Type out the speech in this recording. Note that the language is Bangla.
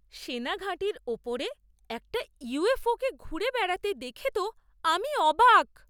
সেনা ঘাঁটির ওপরে একটা ইউএফও কে ঘুরে বেড়াতে দেখে তো আমি অবাক!